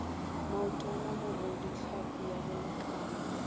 maotwana mogodu tlhapi ya bolekana